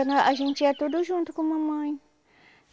a gente ia tudo junto com mamãe.